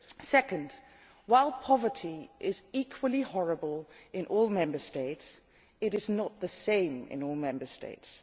Secondly, while poverty is equally horrible in all Member States, it is not the same in all Member States.